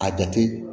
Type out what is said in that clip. A jate